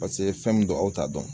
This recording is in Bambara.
Paseke fɛn mun don aw t'a dɔn.